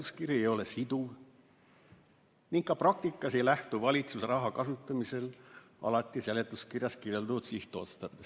Seletuskiri ei ole siduv ning ka praktikas ei lähtu valitsus raha kasutamisel alati seletuskirjas kirjeldatud sihtotsarbest.